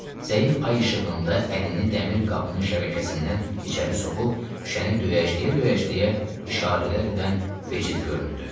Zəif ay işığında əlini dəmir qapının şəbəkəsindən içəri soxub, şüşəni döyəcləyə-döyəcləyə işarələr edən becid göründü.